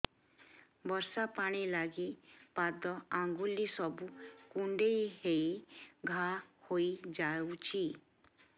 ବର୍ଷା ପାଣି ଲାଗି ପାଦ ଅଙ୍ଗୁଳି ସବୁ କୁଣ୍ଡେଇ ହେଇ ଘା ହୋଇଯାଉଛି